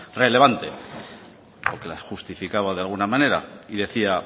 relevante o que la justificaba de alguna manera y decía